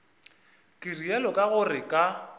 ke realo ka gore ka